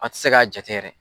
An ti se k'a jate yɛrɛ.